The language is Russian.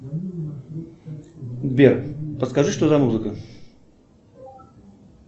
сбер подскажи что за музыка